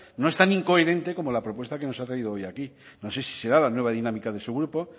no es tan incoherente como la propuesta que nos ha traído hoy aquí no sé si será la nueva dinámica de su grupo